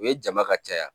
U ye jama ka caya